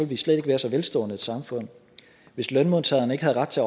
vi slet ikke være så velstående et samfund hvis lønmodtagerne ikke havde ret til